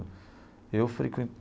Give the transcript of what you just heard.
Eu